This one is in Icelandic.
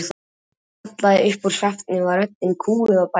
Þegar ég kallaði upp úr svefni var röddin kúguð og bæld.